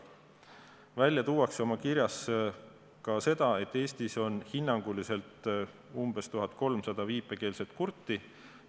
Välja tuuakse kirjas ka seda, et Eestis on hinnanguliselt 1300 viipekeelset kurti.